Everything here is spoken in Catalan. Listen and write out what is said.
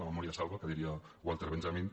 la memòria salva que diria walter benjamin